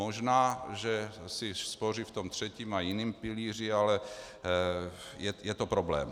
Možná že si spoří v tom třetím a jiném pilíři, ale je to problém.